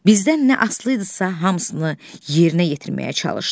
Bizdən nə asılı idisə, hamısını yerinə yetirməyə çalışdıq.